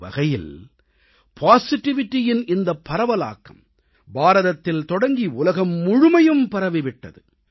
ஒருவகையில் நேர்மறையின் இந்த பரவலாக்கம் பாரதத்தில் தொடங்கி உலகம் முழுமையும் பரவிவிட்டது